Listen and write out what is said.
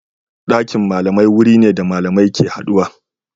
Dakin malamai wuri ne da malamai ke haduwa.